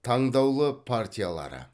таңдаулы партиялары